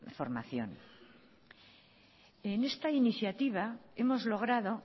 formación en esta iniciativa hemos logrado